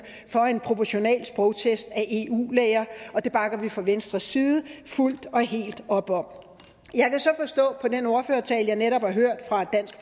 for en proportional sprogtest af eu læger og det bakker vi fra venstres side fuldt og helt op om jeg kan så forstå på den ordførertale jeg netop har hørt fra dansk